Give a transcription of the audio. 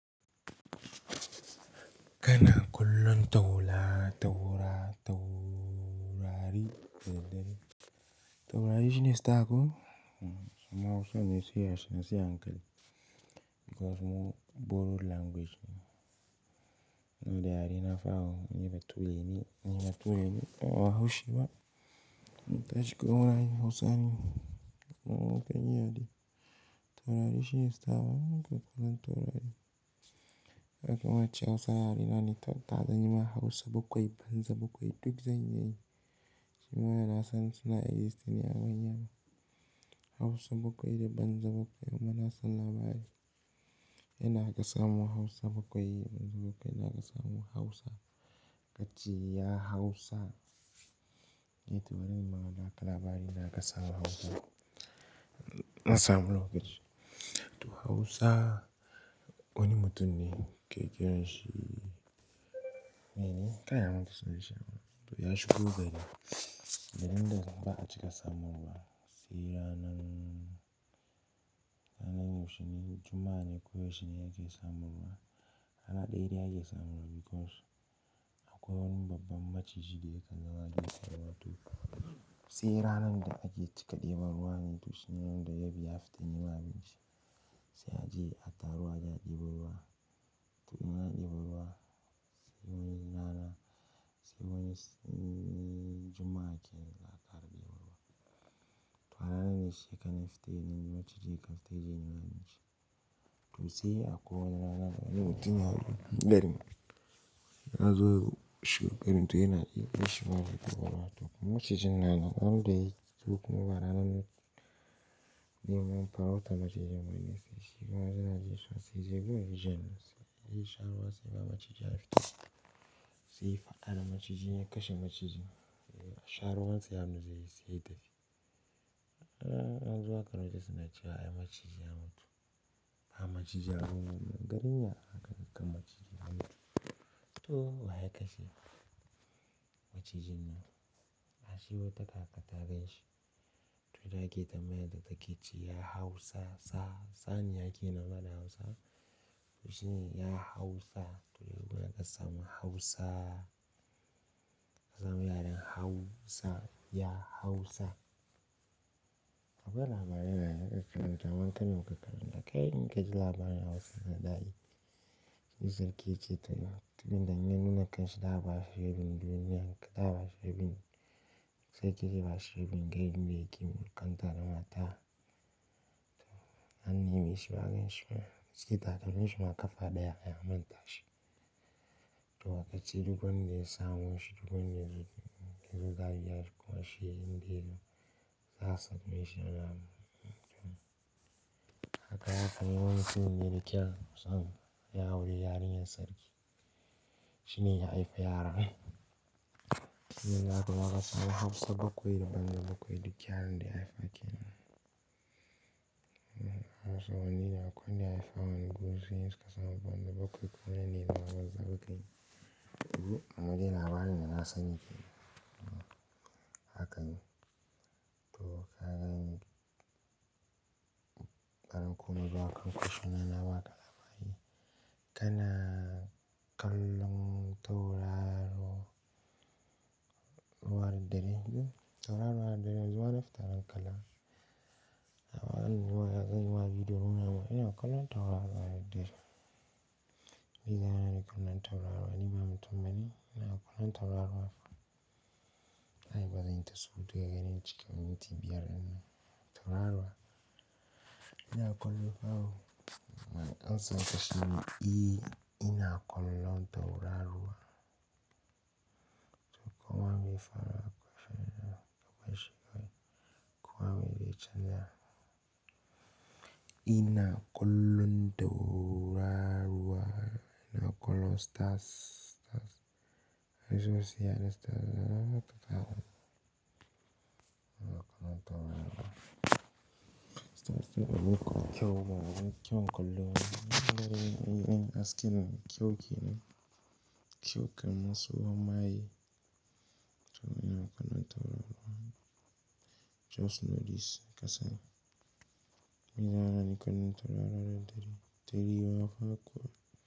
Kana kullum taurari, taurari shine star ko? Mmm, mu hausan ne sai a slow, sai a hankali. Because mu borrowed language ne. Nna da yare na fa ooo ni ba ture ne, ni ba ture ne. Ba bahause ba, mun tashi kawai mu na yin Hausa ne. Ama, kuma ya dai taurari shine star ba, kuma zan taurari. Ka ga kar ace Hausa yare na ne, to ka ga nim Hausa bakwai, banza bakwai duk zan iya yi. Shi ma da na san suna existing ne a manya. Hausa bakwai da banza bakwai muna son labari. Inda za ka samu Hausa bakwai, banza bakwai, za kasamu Hausa. Kace ya Hausa. Eh to bari in baka labari yanda aka samu Hausa. Na samu lokaci. To Hausa, wani mutum ne ke kiranshi. Bai dai gaya mun sunan shi ba toh ya shigo gari. Garin nan ba a cika samun ruwa sai ranan ranan yaushene, juma'a ne ko yaushe ake samun ruwa. Rana daya daya ake samu because akwai wani babban maciji da yakan zama wato sai ranan da ake cika fita neman ruwa ne za kaga ya fita neman abinci sai aje a taru a deba ruwa toh in ana deba ruwa sai wani rana, sai wani juma'a kenana za a kara deba ruwa. Toh ka ranan ne shi ya kan fito ya nema maciji, yakan fita ya nemo abinci to sai akwai wani rana da wani mutumiyar garin ya zo to irin yana so ya sha ruwa, to ranan da yazo ba ranan farauta ba, sai yana jin kishi sai ya je zai sha ruwa, sai ga macijin ya fito sai yayi fada da macijin ya kashe macijin sha ruwan sa da hannu sai ya tafi anzo an ankara cewa maciji ya mutu anga maciji ya mutu, garin ya anga maciji ya mutu? Toh, wa ya kashe? Maciji ya mutu ashe wata kaka ta ganshi toh da ake tambayar ta ke ce ya hau sa'a sa'a, saniya kenan fa da hausa toh shine ya hau sa'a. Toh yanzu aka samu hausa samu yaren hausa ka gwada mana ka karyata. Kai kaine in kaji labarin hausa da dadi sai sarki ya ce toh, duk randa ya nuna kanshi za a bashi rabin duniya, zai bashi bashi rabin, sarki za bashi rabin duk inda ya ke mulkanta don at tah. Toh an nemeshi ba a ganshi ba, a she takalmin shi na kafa daya ya manta shi toh aka ce duk wanda ya samo shi, duk wanda ya zo, yazo za a biya shi kuma indai za a same shi yana kaga anyi wani saurayi ne mai kyau ya auri yarinyar sarki mutumin ya haifi yara, sune zakaga su banza bakwai da hausa bakwai, yaranda ya haifa kenan to an nemi shi ba gashi ba. Kaci ta tare shi ma kafa ɗaya ya manta shi. Oho ama dai labarinda na sani kenan. Haka ne to ka gane kaga ko a kan kusion nan nabaka labari kana kallon tauraro ruwan dare tauraruwar ru har dare yanzu warin fitar kallo Dama yanzu zan yima bidio, inna kallo tauraruwa a hayen tasha me zai hana ni kallon tauraruwa, ni ba mutum bane, inna kallon tauraruwa fa ai bazan ta surutu in cika minti biyar din nan, tauraruwa inna kallo fa wooo Now amsan ka shine, eh in na kallon tauraruwa toh koma me ya faru a kwai sharadi, ka barshi kawai, koma me zai chanza. In na kollon tauraruwa ina kullum stars, stars. Wasu wai su yaren su taratarrrerehtata, ina kallon taburmar. Abun ka kyau kenan, kyau kenan ka ga hasken nan kyau kenan kyau kallon tsohon maye to ina kullum tauraro ruwa. Just know this kasani. Ma zai hana ni kallon taurari da dare tari ra fa kuwa.